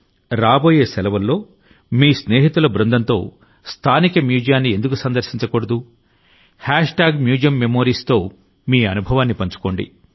రాబోయే సెలవుల్లో మీ స్నేహితుల బృందంతో స్థానిక మ్యూజియాన్ని ఎందుకు సందర్శించకూడదు MuseumMemoriesతో మీ అనుభవాన్ని పంచుకోండి